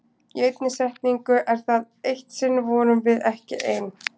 Í einni setningu er það: Eitt sinn vorum við ekki ein.